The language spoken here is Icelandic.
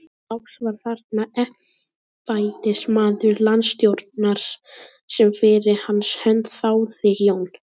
Loks var þarna embættismaður landstjórans sem fyrir hans hönd þáði Jón